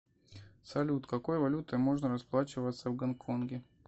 салют какой валютой можно расплачиваться в гонконге